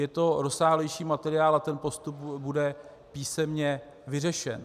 Je to rozsáhlejší materiál a ten postup bude písemně vyřešen.